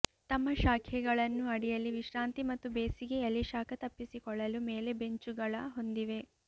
ತಮ್ಮ ಶಾಖೆಗಳನ್ನು ಅಡಿಯಲ್ಲಿ ವಿಶ್ರಾಂತಿ ಮತ್ತು ಬೇಸಿಗೆಯಲ್ಲಿ ಶಾಖ ತಪ್ಪಿಸಿಕೊಳ್ಳಲು ಮೇಲೆ ಬೆಂಚುಗಳ ಹೊಂದಿವೆ